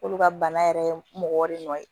K'olu ka bana yɛrɛ mɔgɔ de nɔ ye